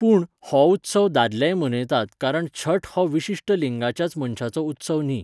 पूण, हो उत्सव दादलेय मनयतात कारण छठ हो विशिश्ट लिंगाच्याच मनशांचो उत्सव न्ही.